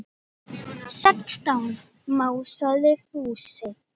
Sextán másaði Fúsi.